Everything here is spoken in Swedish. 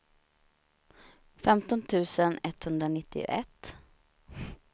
femton tusen etthundranittioett